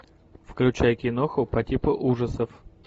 включай киноху по типу ужасов